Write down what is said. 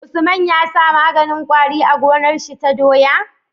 Usman yasa maganin kwari a gonar shi ta doya?